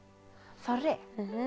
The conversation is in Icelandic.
þorri